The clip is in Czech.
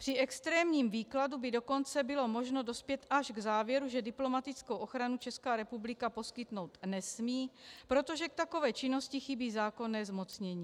Při extrémním výkladu by dokonce bylo možno dospět až k závěru, že diplomatickou ochranu Česká republika poskytnout nesmí, protože k takové činnosti chybí zákonné zmocnění.